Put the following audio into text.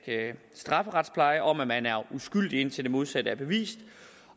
strafferetspleje om at man er uskyldig indtil det modsatte er bevist